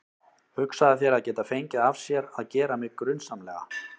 Hugsaðu þér að geta fengið af sér að gera mig grunsamlega.